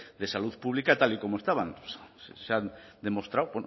de salud pública tal y como estaban se ha demostrado